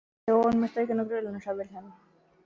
Við vorum með steikina á grillinu, sagði Vilhelm.